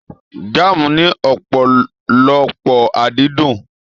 Jaamu ní ọpọlọpọ adídun.